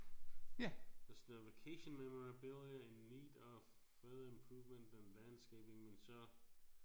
Der står vacation memorabilia in need of further improvement than landscaping men så